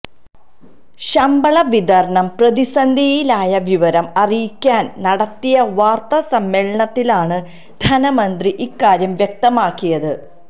ശമ്പളവിതരണം പ്രതിസന്ധിയിലായ വിവരം അറിയിക്കാന് നടത്തിയ വാര്ത്താസമ്മേളനത്തിലാണ് ധനമന്ത്രി ഇക്കാര്യം വ്യക്തമാക്കിയത്